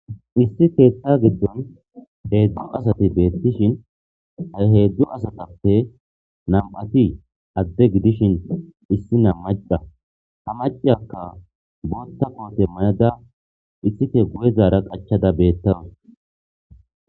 Issi keetta giddon heedzdzu asati beettishin a heedzdzu asatappe nam7ati adde gidishin issi na maca ha macaakka bootta koote may7ada issike guyezaara qachada beettanus.